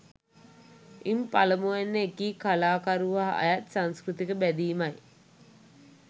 ඉන් පළමුවැන්න එකී කලාකරුවා අයත් සංස්කෘතික බැදීමයි